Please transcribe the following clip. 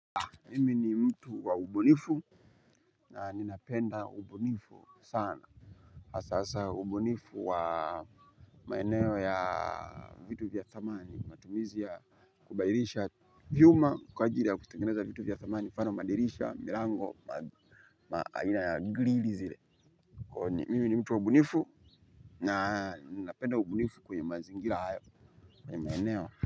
Mimi ni mtu wa ubunifu na ninapenda ubunifu sana. Hasa hasa ubunifu wa maeneo ya vitu vya dhamani matumizi ya kubadilisha vyuma kwa ajili ya kutengeneza vitu vya dhamani mfano madirisha, milango, aina ya grilli zile. Mimi ni mtu wa ubunifu na ninapenda ubunifu kwenye mazingira hayo kwenye maeneo.